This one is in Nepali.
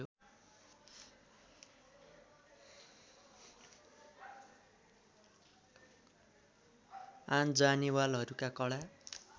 आन जानेवालहरूमा कडा